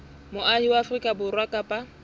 moahi wa afrika borwa kapa